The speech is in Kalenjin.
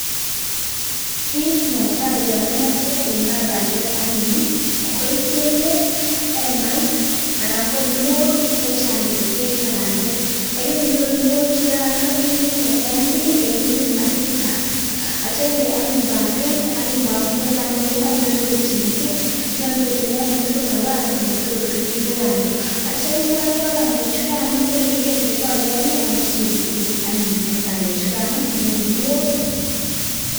kit netai yaimache imaa pandek anyun .koichenge hemait anan guniok chechat che tiengee pandek. kokainyoru kuniok chugain iitee eng olemii asista atiam anyun inde pandek. ako manyalu kochilgei nyalu kotinye tugul napas oletotkinde pandek. atia itwai twai pandek chukai ipiger ile kakoyamya komaswek tugul, inde kuniok.